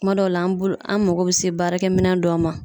Kuma dɔw la an bolo an mago be se baarakɛminɛn dɔw ma